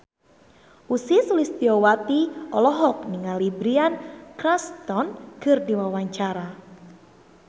Ussy Sulistyawati olohok ningali Bryan Cranston keur diwawancara